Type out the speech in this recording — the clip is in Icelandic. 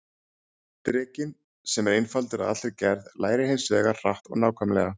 Drekinn, sem er einfaldur að allri gerð, lærir hins vegar hratt og nákvæmlega.